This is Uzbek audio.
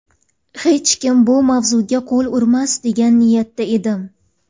Hech kim bu mavzuga qo‘l urmas degan niyatda edim.